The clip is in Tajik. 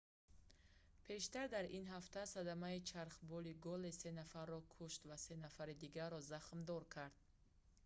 пештар дар ин ҳафта садамаи чархболи gолис се нафарро кeшт ва се нафари дигарро захмдор кард